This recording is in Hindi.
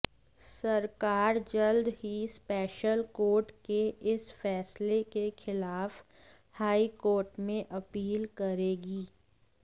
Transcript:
सरकार जल्द ही स्पेशल कोर्ट के इस फैसले के खिलाफ हाई कोर्ट में अपील करेगी